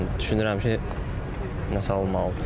düşünürəm ki, nəsə alınmalıdır.